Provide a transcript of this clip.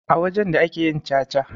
A wajen da ake yin caca.